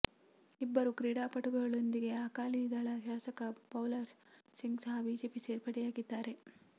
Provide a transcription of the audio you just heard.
ಇಬ್ಬರು ಕ್ರೀಡಾಪಟುಗಳೊಂದಿಗೆ ಅಕಾಲಿ ದಳ ಶಾಸಕ ಬಲ್ಕೌರ್ ಸಿಂಗ್ ಸಹ ಬಿಜೆಪಿ ಸೇರ್ಪಡೆಯಾಗಿದ್ದಾರೆ